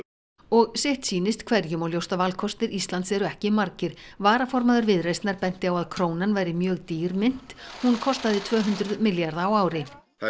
og sitt sýnist hverjum og ljóst að valkostir Íslands eru ekki margir varaformaður Viðreisnar benti á að krónan væri mjög dýr mynt hún kostaði tvö hundruð milljarða á ári það